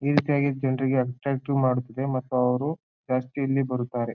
ಈ ರೀತಿಯಾಗಿ ಜನ್ರಿಗೆ ಅಟ್ಟ್ರಾಕ್ಟಿವ್ ಮಾಡುತ್ತಿದೆ ಮತ್ತು ಅವ್ರು ಪ್ಯಾಸ್ಟ್ರಿಲಿ ಬರುತ್ತಾರೆ.